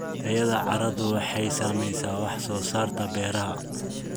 Tayada carradu waxay saamaysaa wax soo saarka beeraha.